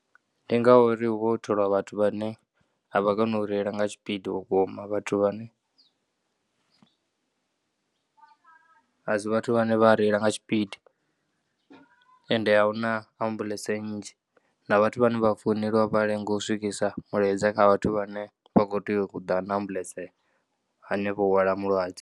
Ndi ngauri hu vha ho tholiwa vhathu vhane a vha koni u reila nga tshipidi vhukuma. Vhathu vhane, a si vhathu vhane vha reila na tshipidi ende a hu ambuḽentse nnzhi. Na vhathu vhane vha founeliwa vha lenga u swikisa mulaedza kha vhathu vhane vha kho tea u ḓa na ambuḽentse hanefho u hwala mulwadze.